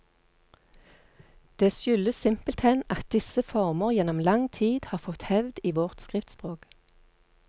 Det skyldes simpelthen at disse former gjennom lang tid har fått hevd i vårt skriftspråk.